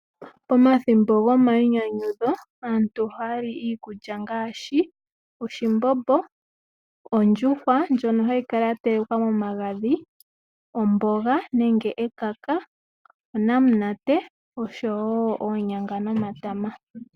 Pomathimbo gomainyanyudho aantu ohaya li iikulya ngaashi oshimbombo, ondjuhwa ndjono hayi kala yatelekwa nomagadhi, omboga nenge ekaka, onamulate osho woo oonyanga nomatama.